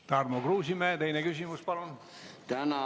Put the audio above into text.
Tarmo Kruusimäe, teine küsimus, palun!